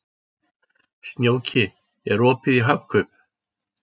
Snjóki, er opið í Hagkaup?